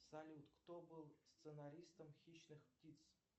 салют кто был сценаристом хищных птиц